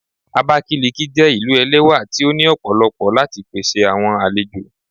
Abakiliki jé ilú ẹlẹwà tí o ní òpòlopo láti pèsè àwọn àlejò.